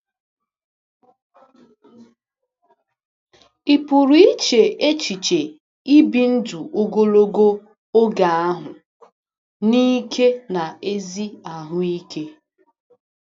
Ị pụrụ iche n’echiche ibi ndụ ogologo oge ahụ n’ike na ezi ahụ ike?